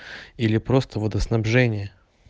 или просто водоснабжение